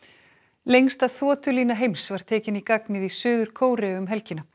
lengsta heims var tekin í gagnið í Suður Kóreu um helgina